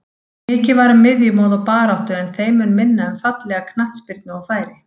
Mikið var um miðjumoð og baráttu en þeim mun minna um fallega knattspyrnu og færi.